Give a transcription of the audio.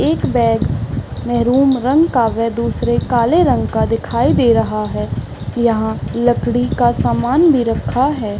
एक बैग मैहरून रंग का व दूसरे काले रंग का दिखाई दे रहा है यहाँ लकड़ी का सामान भी रखा है।